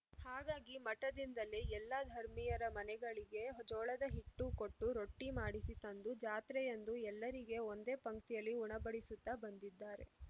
ಹಾಗಾಗಿ ಮಠದಿಂದಲೇ ಎಲ್ಲ ಧರ್ಮಿಯರ ಮನೆಗಳಿಗೆ ಜೋಳದ ಹಿಟ್ಟು ಕೊಟ್ಟು ರೊಟ್ಟಿಮಾಡಿಸಿ ತಂದು ಜಾತ್ರೆಯಂದು ಎಲ್ಲರಿಗೆ ಒಂದೇ ಪಂಕ್ತಿಯಲ್ಲಿ ಉಣಬಡಿಸುತ್ತ ಬಂದಿದ್ದಾರೆ